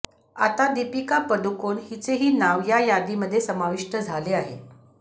आता दीपिका पदुकोण हिचेही नाव या यादीमध्ये समाविष्ट झाले आहे